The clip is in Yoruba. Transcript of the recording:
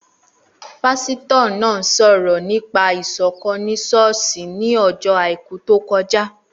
Pásítọ̀ náà sọ̀rọ̀ nípa Ìṣọ̀kán ni ṣọ́ọ̀ṣì ní ọjọ́ àìkú tó kọjá